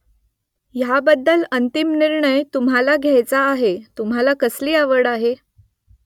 ह्याबद्दल अंतिम निर्णय तुम्हाला घ्यायचा आहे तुम्हाला कसली आवड आहे ?